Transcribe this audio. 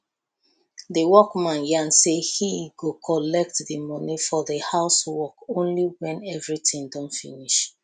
the workman yarn say he go collect the money for the house work only when everything don finish